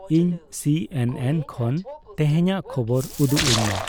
ᱤᱧ ᱥᱤᱹ ᱮᱱᱹ ᱮᱱᱹ ᱠᱷᱚᱱ ᱛᱮᱦᱮᱧᱟᱜ ᱠᱷᱚᱵᱚᱨ ᱩᱫᱩᱜ ᱟᱹᱧ ᱢᱮ